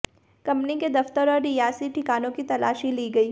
company के दफ्तर और रिहायशी ठिकानों की तलाशी ली गई